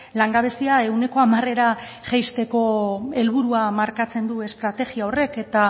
langabezia ehuneko hamarera jaisteko helburua markatzen du estrategia horrek eta